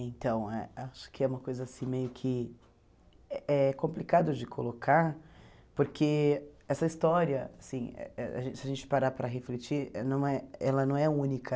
Então, eh acho que é uma coisa assim meio que eh complicado de colocar, porque essa história, assim a gente se a gente parar para refletir, não é ela não é única.